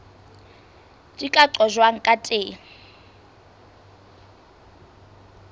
di ka qojwang ka teng